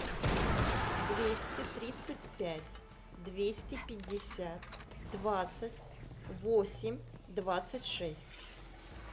двести тридцать пять двести пятьдесят двадцать восемь двадцать шесть